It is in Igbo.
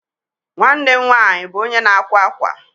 Nwanne m nwaanyị bụ onye na-akwa akwa.